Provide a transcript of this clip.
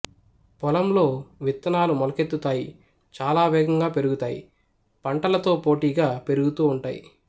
పొలంలో విత్తనాలు మొలకెత్తుతాయి చాలా వేగంగా పెరుగుతాయి పంటలతో పోటీగా పెరుగుతు ఉంటాయి